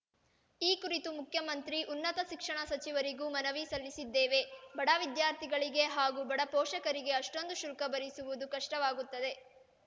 ಈ ಕುರಿತು ಮುಖ್ಯಮಂತ್ರಿ ಉನ್ನತ ಶಿಕ್ಷಣ ಸಚಿವರಿಗೂ ಮನವಿ ಸಲ್ಲಿಸಿದ್ದೇವೆ ಬಡ ವಿದ್ಯಾರ್ಥಿಗಳಿಗೆ ಹಾಗೂ ಬಡ ಪೋಷಕರಿಗೆ ಅಷ್ಟೊಂದು ಶುಲ್ಕ ಭರಿಸುವುದು ಕಷ್ಟವಾಗುತ್ತದೆ